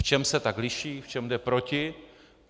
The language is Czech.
V čem se tak liší, v čem jde proti.